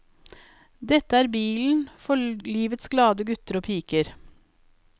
Dette er bilen for livets glade gutter og piker.